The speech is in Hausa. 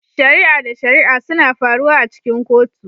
Shari'a da shari'a suna faruwa a cikin kotu